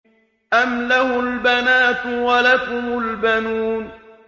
أَمْ لَهُ الْبَنَاتُ وَلَكُمُ الْبَنُونَ